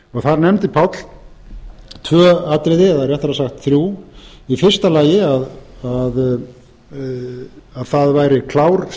þar nefndi páll tvö atriði eða réttara sagt þrjú í fyrsta lagi að það væri klár